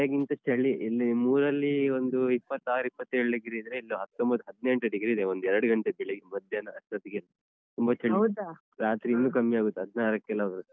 ಮಳೆಗಿಂತ ಚಳಿ ಇಲ್ಲಿ ಮೂರಲ್ಲಿ ಒಂದ್ ಇಪ್ಪತ್ತಾರ್ ಇಪ್ಪತ್ತೇಳ್‌ degree ಇದ್ರೆ ಇಲ್ಲಿ ಹತ್ತೊಂಬತ್ತು ಹದ್ನೆಂಟು degree ಇದೆ ಒಂದ್ ಎರ್ಡ್ ಗಂಟೆ ಬೆಳ್ಳೆಗ ಮಧ್ಯಾಹ್ನ ಅಷ್ಟೊತ್ತಿಗೆ ತುಂಬ ಚಳಿ ರಾತ್ರಿಯಿನ್ನೂ ಕಮ್ಮಿಯಾಗುತ್ತ್, ಹದ್ನಾರಕ್ಕೆಲ್ಲ ಹೋಗತ್ತೆ.